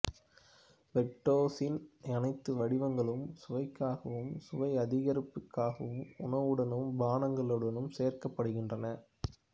பிரக்டோசின் அனைத்து வடிவங்களும் சுவைக்காகவும் சுவை அதிகரிப்புக்காகவும் உணவுடனும் பானங்களுடனும் சேர்க்கப்படுகின்றன